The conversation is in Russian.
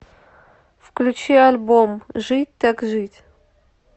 включи альбом жить так жить